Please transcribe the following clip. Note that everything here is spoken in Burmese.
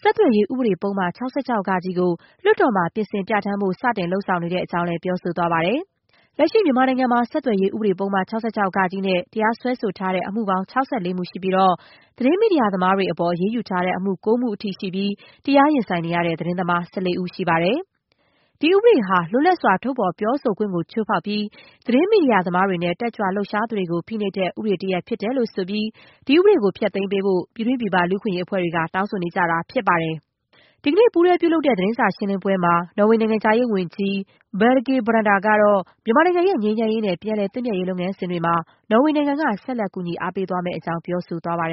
ဆက်သွယ်ရေးဥပဒေပုဒ်မ ၆၆ ကို လွှတ်တော်မှာ ပြင်ဆင်ပြဌာန်းဖို့ စတင်လုပ်ဆောင်နေတဲ့ အကြောင်းလည်း ပြောဆိုသွားပါတယ်။ လက်ရှိမြန်မာနိုင်ငံမှာ ဆက်သွယ်ရေး ဥပဒေ ပုဒ်မ ၆၆ ဃ နဲ့ တရားစွဲဆိုထားတဲ့ အမှုပေါင်း ၆၄ မှု ရှိပြီးတော့ သတင်းမီဒီယာသမားတွေ အပေါ် အရေးယူထားတဲ့အမှု ၉ မှုအထိရှိပြီး တရားရင်ဆိုင်နေရတဲ့ သတင်းသမား ၁၄ ဦး ရှိပါတယ်။ ဒီဥပဒေဟာ လွတ်လပ်စွာ ထုတ်ဖော် ပြောဆိုခွင့်ကို ချိုးဖောက်ပြီး သတင်းမီဒီယာသမားတွေနဲ့ တက်ကြွလှုပ်ရှားသူတွေကို ဖိနှိပ်တဲ့ ဥပဒေတရပ်ဖြစ်တယ်လို့ဆိုပြီး ဒီဥပဒေကို ဖျက်သိမ်းပေးဖို့ ပြည်တွင်းပြည်ပ လူ့အခွင့်အရေး အဖွဲ့တွေက တောင်းဆိုနေကြတာ ဖြစ်ပါတယ်။ ဒီကနေ့ ပူးတွဲ သတင်းစာရှင်းလင်းပွဲမှာ နော်ေ၀ နိုင်ငံခြားရေးဝန်ကြီး Borge Brende ကတော့ မြန်မာနိုင်ငံရဲ့ ငြိမ်းချမ်းရေးနဲ့ ပြန်လည်သင့်မြတ်ရေး လုပ်ငန်းစဉ်တွေမှာ နော်ဝေနိုင်ငံက ဆက်လက် ကူညီအားပေးသွားမယ့်အကြောင်း ပြောဆိုသွားပါတယ်